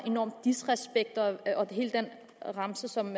enorm disrespekt og hele den remse som